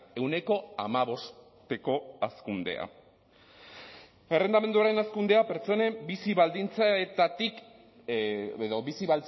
ehuneko hamabosteko hazkundea errentamenduaren hazkundea pertsonen bizi baldintzetatik edo bizi